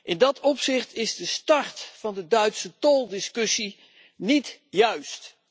In dat opzicht is de start van de Duitse toldiscussie niet juist.